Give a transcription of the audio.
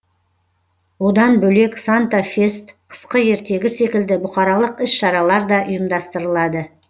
одан бөлек санта фест қысқы ертегі секілді бұқаралық іс шаралар да ұйымдастырылады